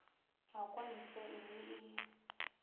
a kwa ntle mme e